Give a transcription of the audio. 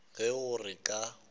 ge e le gore ka